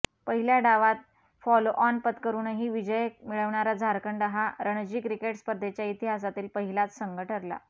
पहिल्या डावात फॉलोऑन पत्करूनही विजय मिळवणारा झारखंड हा रणजी क्रिकेट स्पर्धेच्या इतिहासातील पहिलाच संघ ठरला